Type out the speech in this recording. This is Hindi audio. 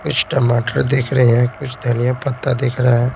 कुछ टमाटर दिख रहे हैं कुछ धनिया पत्ता दिख रहे हैं।